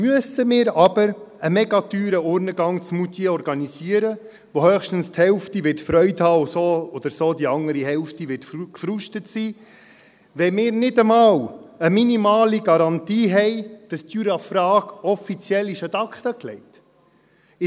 Müssen wir aber einen sehr teuren Urnengang in Moutier organisieren, bei dem höchstens die Hälfte Freude haben wird und so oder so die andere Hälfte gefrustet sein wird, wenn wir nicht einmal eine minimale Garantie haben, dass die Jura-Frage offiziell ad acta gelegt ist?